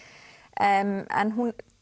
en en